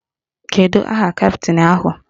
Kedu aha kaptịn ahụ?